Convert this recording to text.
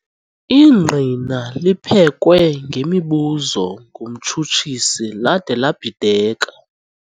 Ingqina liphekwe ngemibuzo ngumtshutshisi lade labhideka.